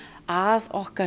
að okkar